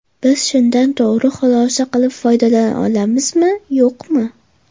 Biz shundan to‘g‘ri xulosa qilib foydalana olamizmi-yo‘qmi?